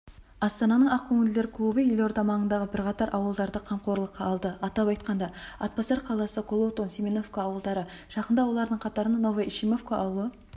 астананың ақкөңілдер клубы елорда маңындағы бірқатар ауылдарды қамқорлыққа алды атап айтқанда атбасар қаласы колотун семеновка ауылдары жақында олардың қатарына новоишимовка ауылы